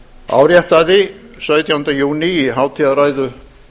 áréttaði sautjánda júní í hátíðarræðu